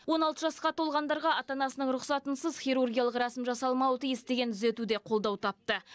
он алты жасқа толғандарға ана анасының рұқсатынсыз хирургиялық рәсім жасалмауы тиіс деген түзету де қолдау тапты